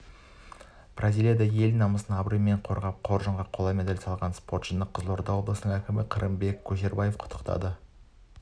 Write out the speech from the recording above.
бразилияда ел намысын абыроймен қорғап қоржынға қола медаль салған спортшыны қызылорда облысының әкімі қырымбек көшербаев құттықтады